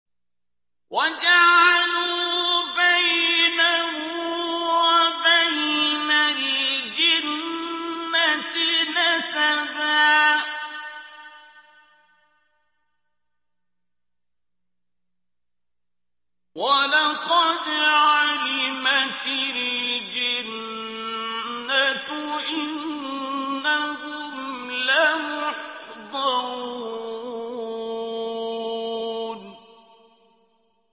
وَجَعَلُوا بَيْنَهُ وَبَيْنَ الْجِنَّةِ نَسَبًا ۚ وَلَقَدْ عَلِمَتِ الْجِنَّةُ إِنَّهُمْ لَمُحْضَرُونَ